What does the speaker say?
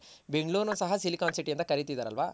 ಬೆಂಗಳೂರ್ ನು ಸಹ Silicon city ಅಂತ ಕರಿತಿದರ್ ಅಲ್ವ.